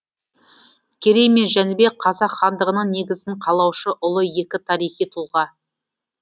керей мен жәнібек қазақ хандығының негізін қалаушы ұлы екі тарихи тұлға